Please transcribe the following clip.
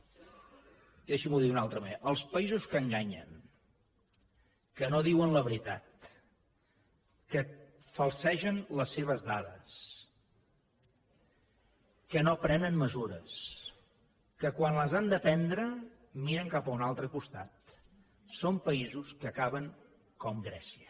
deixin me dir ho d’una altra manera els països que enganyen que no diuen la veritat que falsegen les seves dades que no prenen mesures que quan les han de prendre miren cap a un altre costat són països que acaben com grècia